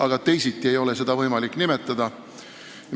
Aga teisiti ei ole seda võimalik iseloomustada.